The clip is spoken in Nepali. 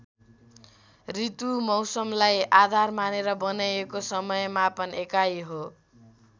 ऋतु मौसमलाई आधार मानेर बनाइएको समय मापन एकाई हो।